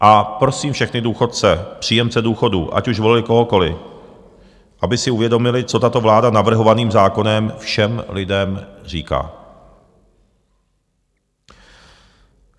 A prosím všechny důchodce, příjemce důchodů, ať už volili kohokoliv, aby si uvědomili, co tato vláda navrhovaným zákonem všem lidem říká.